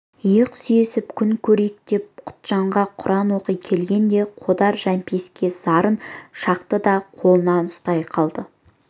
иық сүйесіп күн көрейік деп құтжанға құран оқи келгенде қодар жәмпейіске зарын шақты да қолына ұстай қалды